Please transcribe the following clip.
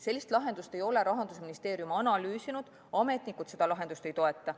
Sellist lahendust ei ole Rahandusministeerium analüüsinud, ametnikud seda lahendust ei toeta.